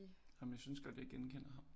Jamen jeg synes godt jeg kan genkender ham